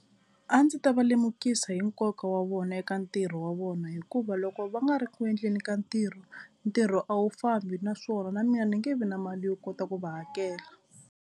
A ndzi ta va lemukisa hi nkoka wa vona eka ntirho wa vona hikuva loko va nga ri ku endleni ka ntirho, ntirho a wu fambi naswona na mina ni nge vi na mali yo kota ku va hakela.